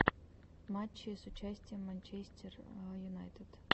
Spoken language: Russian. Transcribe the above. матчи с участием манчестер юнайтед